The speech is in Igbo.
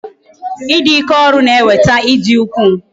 I dị ike ọrụ na-eweta ịdị ukwuu